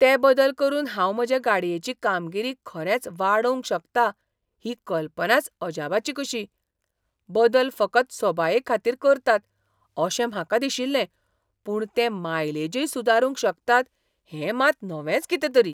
ते बदल करून हांव म्हजे गाडयेची कामगिरी खरेंच वाडोवंक शकता ही कल्पनाच अजापाची कशी. बदल फकत सोबायेखातीर करतात अशें म्हाका दिशिल्लें, पूण ते मायलेजय सुदारूंक शकतात हें मात नवेंच कितेंतरी.